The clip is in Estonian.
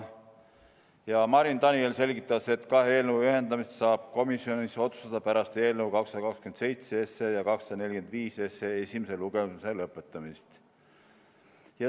Marin Daniel selgitas, et kahe eelnõu ühendamise saab komisjonis otsustada pärast eelnõu 227 ja 245 esimese lugemise lõpetamist.